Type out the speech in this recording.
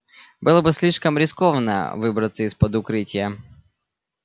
было бы слишком рискованно выбраться из-под укрытия